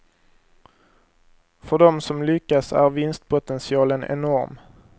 För dem som lyckas är vinstpotentialen enorm.